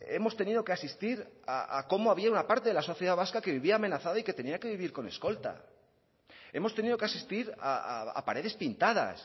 hemos tenido que asistir a cómo había una parte de la sociedad vasca que vivía amenazada y que tenía que vivir con escolta hemos tenido que asistir a paredes pintadas